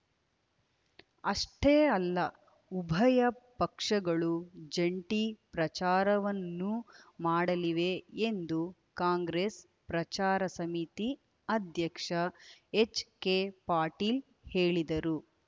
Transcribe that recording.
ಅಷ್ಟೇ ಅಲ್ಲ ಉಭಯ ಪಕ್ಷಗಳು ಜಂಟಿ ಪ್ರಚಾರವನ್ನೂ ಮಾಡಲಿವೆ ಎಂದು ಕಾಂಗ್ರೆಸ್‌ ಪ್ರಚಾರ ಸಮಿತಿ ಅಧ್ಯಕ್ಷ ಎಚ್‌ಕೆ ಪಾಟೀಲ್‌ ಹೇಳಿದರು